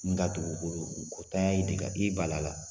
N ka dugukolo ka e bali la .